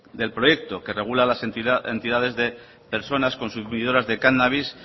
del proyecto que regula las entidades de personas consumidoras de cannabis